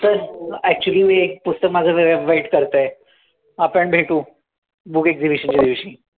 चल, actually मी एक पुस्तक माझं जरा wait करतंय. आपण भेटू. Book exibition च्या दिवशी.